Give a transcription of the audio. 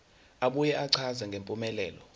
abuye achaze ngempumelelo